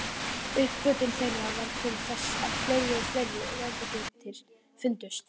Uppgötvun þeirra varð til þess að fleiri og fleiri vetrarbrautir fundust.